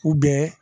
U bɛ